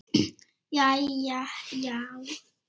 Jæja já?